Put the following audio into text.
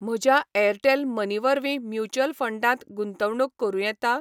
म्हज्या Airtel money वरवीं mutual फंडांत गुंतवणूक करूं येता?